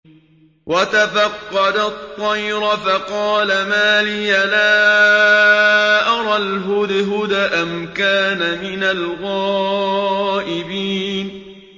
وَتَفَقَّدَ الطَّيْرَ فَقَالَ مَا لِيَ لَا أَرَى الْهُدْهُدَ أَمْ كَانَ مِنَ الْغَائِبِينَ